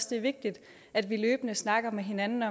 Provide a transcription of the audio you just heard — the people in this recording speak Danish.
det er vigtigt at vi løbende snakker med hinanden